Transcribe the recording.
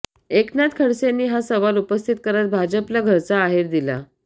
एकनाथ खडसेंनी हा सवाल उपस्थित करत भाजपला घरचा आहेर दिला